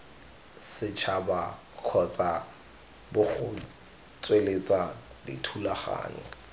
setšhaba kgotsa bgo tsweletsa dithulaganyo